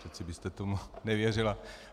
Přece byste tomu nevěřila.